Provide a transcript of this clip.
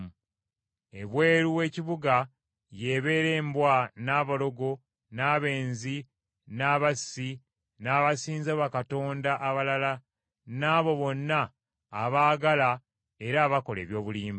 Ebweru w’ekibuga y’ebeera embwa, n’abalogo, n’abenzi, n’abassi, n’abasinza bakatonda abalala n’abo bonna abaagala era abakola eby’obulimba.